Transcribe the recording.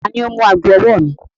Tani o mú agọ̀-ọwọ̀ mi?